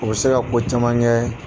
O bɛ se ka ko caman kɛ.